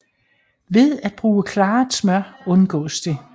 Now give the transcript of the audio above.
Ved at bruge klaret smør undgås det